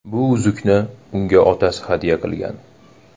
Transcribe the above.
Bu uzukni unga otasi hadya qilgan.